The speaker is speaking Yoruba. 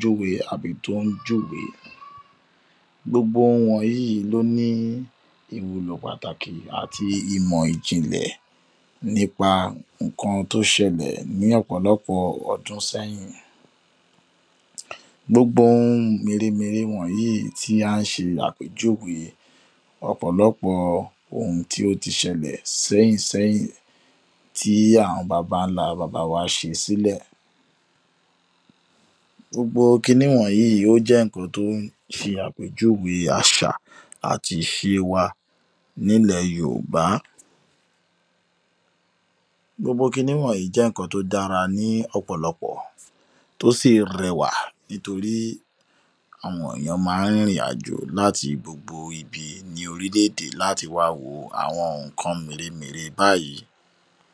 lórí bí a s̩e ń gbé ìgbé ayée ojoojúmó̩ wa.